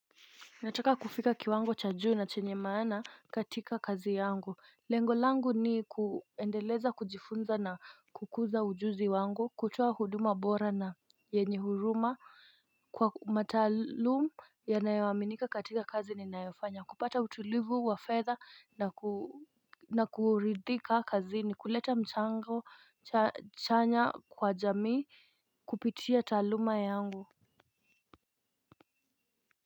Nataka kufika kiwango cha juu na chenye maana katika kazi yangu. Lengo langu ni kuendeleza kujifunza na kukuza ujuzi wangu kutoa huduma bora na yenye huruma kwa mataalumu yanayoaminika katika kazi ninayofanya kupata utulivu wa fedha na kuridhika kazini kuleta mchango chanya kwa jamii kupitia taaluma yangu.